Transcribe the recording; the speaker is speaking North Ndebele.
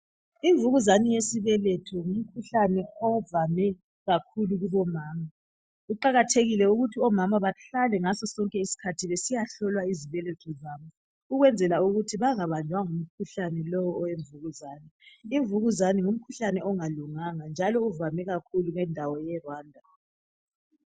Imvukuzane yesibeletho ngumkhuhlane ovame kakhulu kubomama kuqakathekile ukuthi omama bahlale ngaso sonke isikhathi besiyahlolwa ezibhendlela ukwenzela ukuthi bangabanjwa ngumkhuhlane lo owemvukuzane. Imvukuzane ngumkhuhlane ongalunganga njalo uvame kakhulu endaweni ye Rwanda